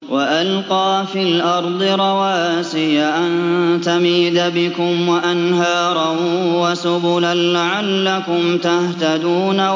وَأَلْقَىٰ فِي الْأَرْضِ رَوَاسِيَ أَن تَمِيدَ بِكُمْ وَأَنْهَارًا وَسُبُلًا لَّعَلَّكُمْ تَهْتَدُونَ